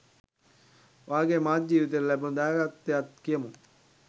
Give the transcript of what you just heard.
ඔයාගේ මාධ්‍ය ජීවිතයට ලැබුණු දායකත්වයත් කියමු.